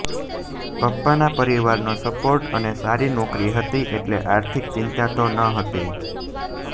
પપ્પાના પરિવારનો સપોર્ટ અને સારી નોકરી હતી એટલે આર્થિક ચિંતા તો ન હતી